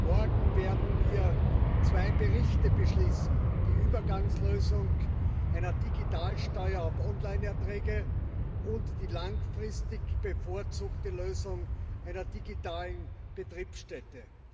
Morgen werden wir zwei Berichte beschließen die Übergangslösung einer Digitalsteuer auf Online Erträge und die langfristig bevorzugte Lösung einer digitalen Betriebsstätte.